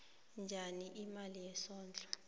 njani imali yesondlo